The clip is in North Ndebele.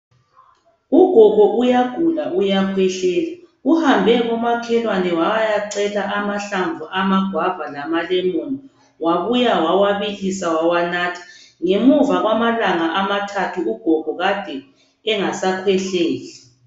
Ugogo uyagula uyakhwehlela. Uhambe komakhelwane wayacela amahlamvu amagwava lamalemoni wabuya wawabilisa wawanatha. Ngemuva kwamalanga amathathu ugogo Kade engasakhwehleli.